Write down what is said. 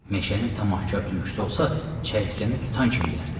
Meşənin tam axkar tülküsü olsa, çəyirtkəni tutan kimi yərdi.